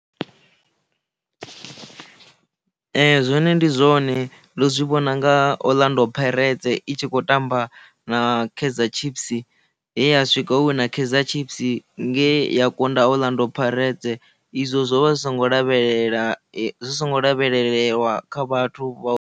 Zwone ndi zwone ndo zwi vhona nga Orlando Pirates i tshi khou tamba na Kaizer Chiefs he ya swika ho wina Kaizer Chiefs nge ya kunda Orlando Pirates izwo zwo vha zwi songo lavhelela zwi songo lavhelewa kha vhathu vha.